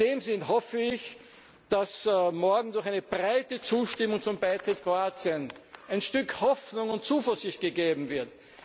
Ländern. In diesem Sinne hoffe ich, dass morgen durch eine breite Zustimmung zum Beitritt Kroatiens ein Stück Hoffnung und Zuversicht gegeben